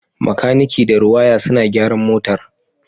Makaniki da Rewire suna gyaran motar